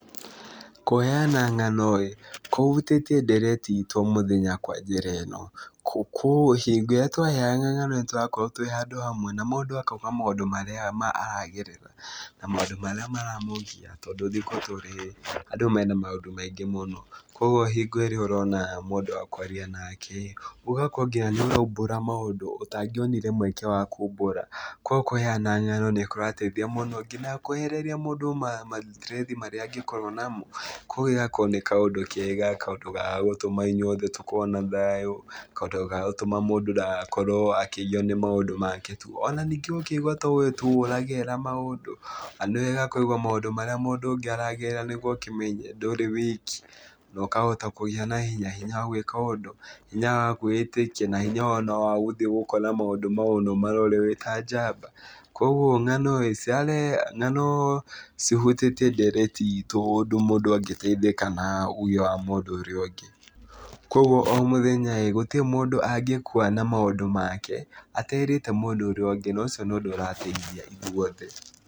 Kũheana ng'ano rĩ, kũhutĩtie ndereti ito mũthenya kwa njĩra ino, hingo iria tũraheana ng'ano nĩtũrakorwo twĩ handũ hamwe, na mũndũ akauga maũndũ marĩa aragerera na maũndũ marĩa maramũgia, tondũ thikũ tũrĩ andũ mena maũndũ maingĩ mũno. Kogwo hingo ĩrĩa ũrona mũndũ wa kwaria nake rĩ, ũgakorwo nginya nĩuraumbũra maũndũ ũtangĩonire maũndũ ma kumbũra. Kogwo kũheana ng'ano nĩ kũrateithia mũno nginya kwehereria mũndũ mathitirethi marĩa mũndũ angĩgĩkorwo namo. Kogwo ĩgakorwo nĩ kaũndũ kega, kaũndũ ga gũtuma ithuothe tũkorwo na thayu, kaũndũ ga gũtuma mũndũ ndagakorwo akĩgio nĩ maũndũ make tu. Ona ningĩ ũkaigwa tu towe ũragerera maũndũ. Na nĩ wega kũigua maũndũ marĩa mũndũ ũngĩ aragerera nĩguo ũkĩmenye ndũrĩ wiki na ũkahota kũgĩa na hinya, hinya wa gwĩka ũndũ, hinya wa kwĩyĩtĩkia na hinya ona wa gũthiĩ gũkora maũndũ mau na ũmarore wĩ ta njamba. Kogwo ng'ano rĩ, cihutĩtie ndereti itu ũndũ mũndũ agĩteithĩka na wa mũndũ ũrĩa ũngĩ. Kogwo o mũthenya ĩĩ, gũtirĩ mũndũ angĩkua na maũndũ make aterĩte mũndũ ũrĩa ũngĩ na ũcio nĩ ũndũ ũrateithia ithuothe.